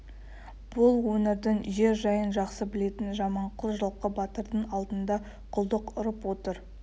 бұл өңірдің жер жайын жақсы білетін жаманқұл жылқы батырдың алдында құлдық ұрып отыр